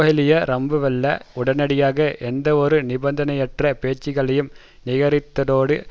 கேஹேலியே ரம்புக்வெல்ல உடனடியாக எந்தவொரு நிபந்தனையற்ற பேச்சுக்களையும் நிராகரித்ததோடு